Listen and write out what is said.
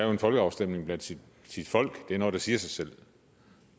en folkeafstemning blandt sit folk er noget der siger sig selv